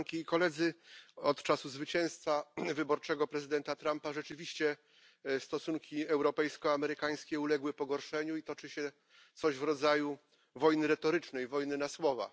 Od czasu zwycięstwa wyborczego prezydenta Trumpa rzeczywiście stosunki europejsko amerykańskie uległy pogorszeniu i toczy się coś w rodzaju wojny retorycznej, wojny na słowa.